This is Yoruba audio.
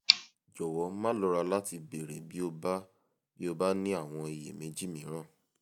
jọ̀wọ́ má lọ́ra láti béèrè bí o bí o bá ní àwọn iyèméjì mìíràn